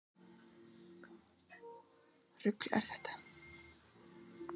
íslenskt sauðfé mun hafa komið til íslands frá noregi um landnám